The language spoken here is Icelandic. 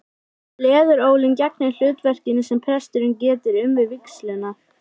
Leðurólin gegnir hlutverkinu sem presturinn getur um við vígsluna.